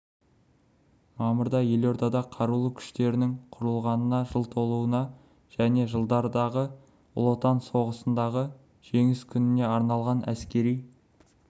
мамырда елордада қарулы күштерінің құрылғанына жыл толуына және жылдардағы ұлы отан соғысындағы жеңіс күніне арналған әскери